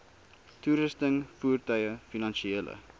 toerusting voertuie finansiële